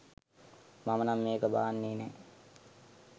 මමනම් මේක බාන්නේ නෑ.